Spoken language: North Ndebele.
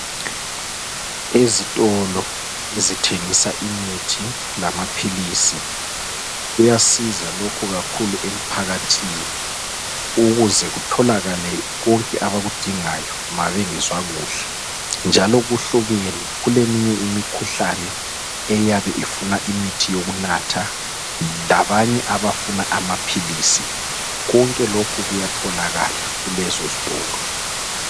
Ezitolo ezithengisa imithi lamaphilisi kuyasiza kakhulu lokhu emphakathini ukuze kutholakale konke abaludingayo ma bengezwa kuhle njalo kuhlukene kuleminye imikhuhlane eyabe ifuna imithi yokunatha lamaphilisi konke lokhu kuyatholakala kulezo zitolo.